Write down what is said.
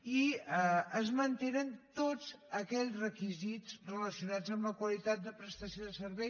i es mantenen tots aquells requisits relacionats amb la qualitat de prestació de servei